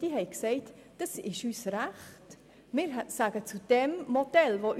Auch er sagt zum vorliegenden Modell Ja.